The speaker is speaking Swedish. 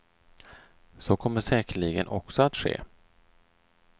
Så kommer säkerligen också att ske.